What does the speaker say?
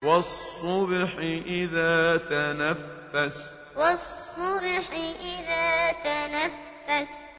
وَالصُّبْحِ إِذَا تَنَفَّسَ وَالصُّبْحِ إِذَا تَنَفَّسَ